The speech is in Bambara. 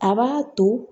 A b'a to